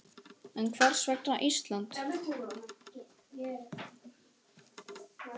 En hvers vegna Ísland?